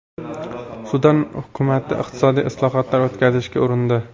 Sudan hukumati iqtisodiy islohotlar o‘tkazishga urindi.